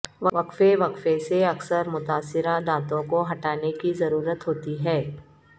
وقفے وقفے سے اکثر متاثرہ دانتوں کو ہٹانے کی ضرورت ہوتی ہے